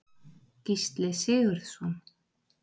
Gísli Sigurðsson.